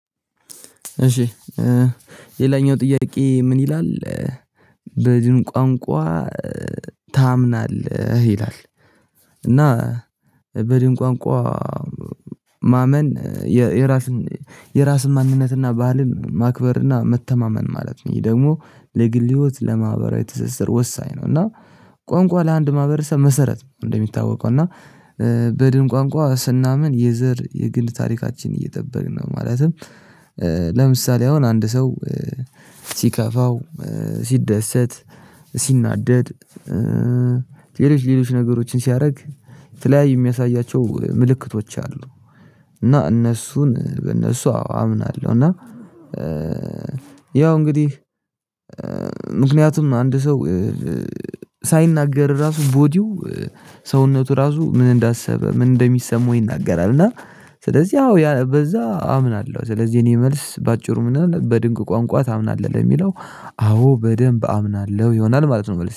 እሺ ሌላኛው ጥያቄ ምን ይላል? በድን ቋንቋ ታምናለህ ይላል? እና በድን ቋንቋ ማመን የራሱን የራሱን ማንነትና ባህልን ማክበርና መተማመን ማለት ነው። ይሄ ደግሞ ለግል ህይወት ለማህበራዊ ትስስር ወሳኝ ነው። እና ቋንቋ ለአንድ ማህበረሰብ መሰረት እንደሚታወቀው እና በድን ቋንቋ ስናምን የዘር የግንድ ታሪካችን እየጠበቅን ነው ማለትም። ለምሳሌ አሁን አንድ ሰው ሲከፋው ሲደሰት ሲናደድ ሌሎች ሌሎች ነገሮችን ሲያደርግ ተለያይ የሚያሳያቸው ምልክቶች አሉ። እና እነሱን በእነሱ አዎ አምናለሁ። እና ያው እንግዲህ አንድ ሰው ሳይናገር ራሱ ቦዲው ሰውነቱ ራሱ ምን እንዳሰበ ምን እንደሚሰማው ይናገራል። እና ስለዚህ ያው በዛ አምናለሁ። ስለዚህ እኔ መልስ በአጭሩ ምን ይሆና በድንቅ ቋንቋ ታምናለህ? ለሚለው አዎ በደንብ አምናለሁ ይሆናል ማለት ነው